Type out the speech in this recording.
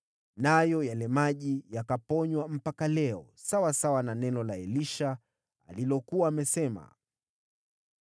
Nayo yale maji yakaponywa mpaka leo, sawasawa na neno la Elisha alilokuwa amesema.